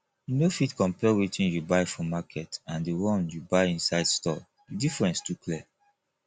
you no fit compare wetin you buy for market and the one you buy inside store the difference too clear